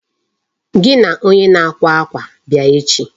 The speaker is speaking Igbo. Gị na onye na-akwa akwa bịa echi.